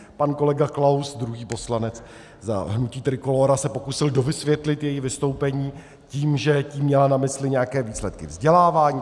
Pan kolega Klaus, druhý poslanec za hnutí Trikolóra, se pokusil dovysvětlit její vystoupení tím, že tím měla na mysli nějaké výsledky vzdělávání.